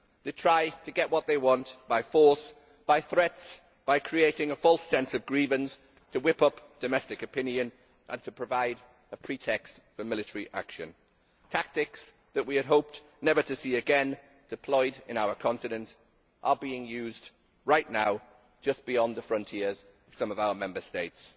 They try to get what they want by force, by threats, by creating a false sense of grievance to whip up domestic opinion and to provide a pretext for military action. Tactics that we had hoped never to see again deployed in our continent are being used right now just beyond the frontiers of some of our Member States.